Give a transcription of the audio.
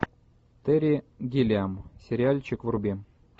терри гиллиам сериальчик вруби